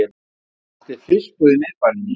Hann átti fiskbúð í miðbænum.